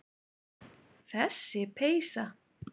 Þessi peysa!